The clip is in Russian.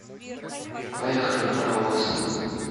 поехали паровоз